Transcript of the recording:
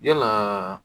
Yalaa